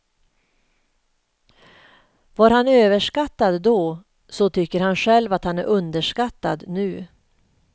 Var han överskattad då, så tycker han själv att han är underskattad nu.